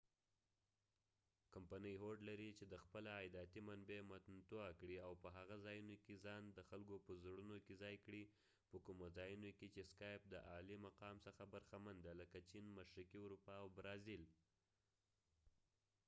کمپنی هوډ لري چې د خپله عایداتی منبع متنوعه کړي او په هغه ځایونو کې ځان د خلکو په زړونو کې ځای کړي په کومو ځایونو کې چې سکایپ د اعلی مقام څخه برخمن دي لکه چېن مشرقی اروپا او برازیل